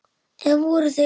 Eða voru þeir það?